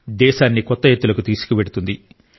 దేశాన్ని కొత్త ఎత్తులకు తీసుకువెళుతుంది